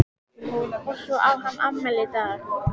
Og svo á hann afmæli í dag.